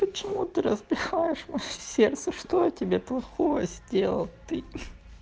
почему ты разбиваешь моё сердце что я тебе плохого сделал ты